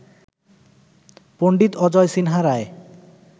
Pandit Ajay Sinha Roy